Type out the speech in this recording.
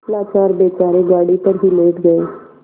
लाचार बेचारे गाड़ी पर ही लेट गये